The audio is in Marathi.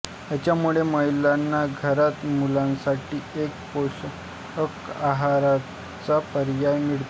ह्यामुळे महिलांना घरात मुलांसाठी एक पोषक आहाराचा पर्याय मिळतो